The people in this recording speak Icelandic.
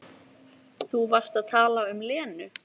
Þú varst að tala um Lenu.